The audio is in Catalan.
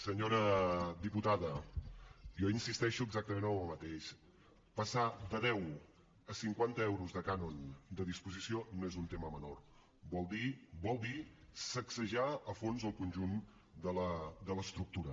senyora diputada jo insisteixo exactament en el mateix passar de deu a cinquanta euros de cànon de disposició no és un tema menor vol dir vol dir sacsejar a fons el conjunt de l’estructura